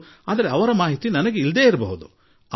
ಪ್ರಾಯಶಃ ಅವರ ಕುರಿತು ಮಾಹಿತಿ ನನ್ನ ಬಳಿ ಇರಲಿಕ್ಕಿಲ್ಲ